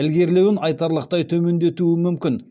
ілгерілеуін айтарлықтай төмендетуі мүмкін